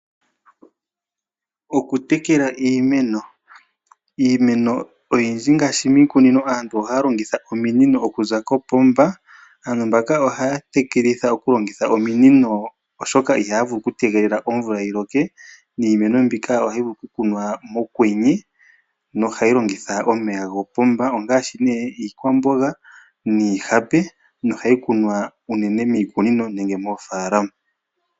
Okutekela iimeno. Iimeno oyindi ngaashi miikunino aantu ohaya longitha ominino okuza kopomba. Aantu mbaka ohaya tekelitha okulongitha ominino, oshoka ihaya vulu okutegelela omvula yi loke. Niimeno mbika ohayi vulu ku kunwa mokwenye, nohayi longitha omeya gopomba. Ongaashi nee iikwamboga niihape, nohayi kunwa unene miikunino nenge moofalama.